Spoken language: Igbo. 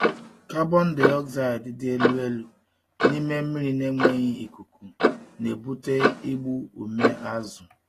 Carbon dioxide dị elu elu n’ime mmiri na-enweghị ikuku na-ebute igbu ume azụ.